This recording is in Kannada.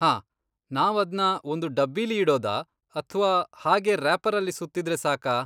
ಹಾಂ, ನಾವದ್ನ ಒಂದು ಡಬ್ಬಿಲಿ ಇಡೋದಾ ಅಥ್ವಾ ಹಾಗೇ ರ್ಯಾಪರಲ್ಲಿ ಸುತ್ತಿದ್ರೆ ಸಾಕಾ?